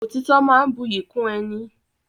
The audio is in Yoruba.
Òtítọ́ máa ń buyì kún ẹni.